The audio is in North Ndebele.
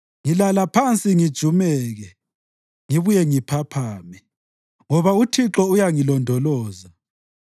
Ngilala phansi ngijumeke; ngibuye ngiphaphame, ngoba uThixo uyangilondoloza.